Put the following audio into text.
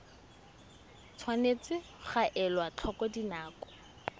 tshwanetse ga elwa tlhoko dinako